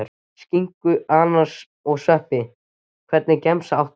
Skinku, ananas og sveppi Hvernig gemsa áttu?